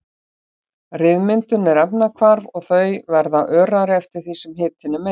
Ryðmyndun er efnahvarf og þau verða örari eftir því sem hitinn er meiri.